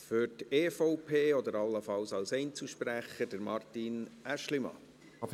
Für die EVP-Fraktion oder allenfalls als Einzelsprecher, Martin Aeschlimann.